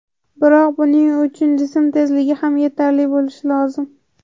Biroq buning uchun jism tezligi ham yetarli bo‘lishi lozim.